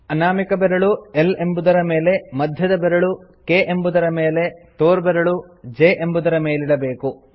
ಅನಾಮಿಕ ಬೆರಳು L ಎಂಬುದರ ಮೇಲೆ ಮಧ್ಯದ ಬೆರಳು K ಎಂಬುದರ ಮೇಲೆ ತೋರ್ಬೆರಳು J ಎಂಬುದರ ಮೇಲಿಡಬೇಕು